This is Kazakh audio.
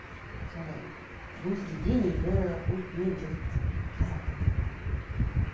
сондай өзі де денелі үлкен жігіт қазақтың жігіті